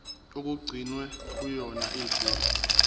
okugcinwe kuyona igugu